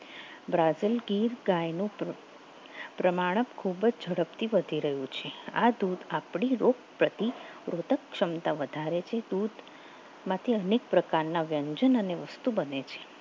Brazil Gir ગાયનું પ્રમાણક ખૂબ જ ઝડપથી વધી રહ્યું છે આ ધોધ આપણે રોગ રોતક ક્ષમતા વધારે છે દૂધ માંથી અનેક પ્રકારના વ્યંજન ની વસ્તુ બને છે